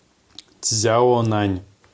цзяонань